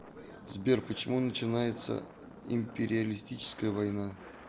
сбер почему начинается империалистическая война